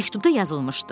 Məktubda yazılmışdı.